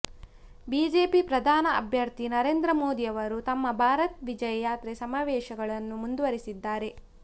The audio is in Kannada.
ಬಿಜೆಪಿ ಪ್ರಧಾನಿ ಅಭ್ಯರ್ಥಿ ನರೇಂದ್ರ ಮೋದಿ ಅವರು ತಮ್ಮ ಭಾರತ್ ವಿಜಯ್ ಯಾತ್ರೆ ಸಮಾವೇಶಗಳನ್ನು ಮುಂದುವರೆಸಿದ್ದಾರೆ